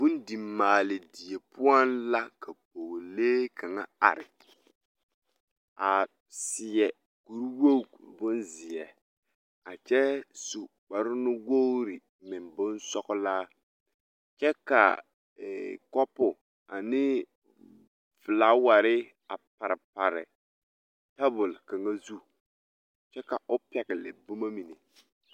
Bondimaale die poɔŋ la ka pɔɡelee kaŋa are a seɛ kurwoɡi bonzeɛ a kyɛ su kparnuwoori meŋ bonsɔɡelaa kyɛ ka kɔpo ane felaawɛre a parepare tabul kaŋa nuuriŋ kyɛ ka o pɛɡele boma mine.